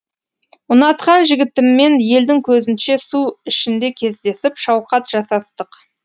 ұнатқан жігітіммен елдің көзінше су ішінде кездесіп шауқат жасастық